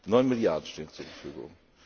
Neun Milliarden stehen zur Verfügung.